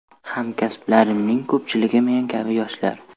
Hamkasblarimning ko‘pchiligi men kabi yoshlar.